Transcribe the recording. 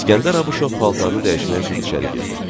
İskəndər Abuşov paltarını dəyişmək üçün içəri girdi.